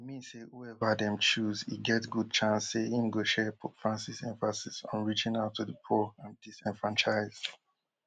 e mean say whoever dem chose e get good chance say im go share pope francis emphasis on reaching out to di poor and disenfranchised